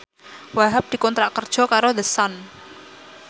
Wahhab dikontrak kerja karo The Sun